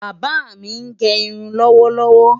Bàbá mi ń gẹ irun lọ́wọ́lọ́wọ́.